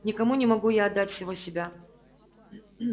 никому не могу я отдать всего себя